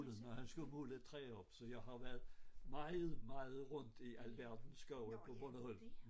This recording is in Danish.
Når han skulle måle et træ op så jeg har været meget meget rundt i alverdens skove på Bornholm